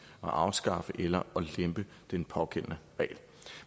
afskaffe eller at lempe den pågældende regel